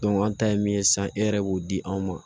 an ta ye min ye sisan e yɛrɛ b'o di anw ma